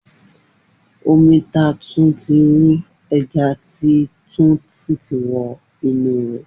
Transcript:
Omi ta tun ti ru, eja ti tun si ti wo inu e.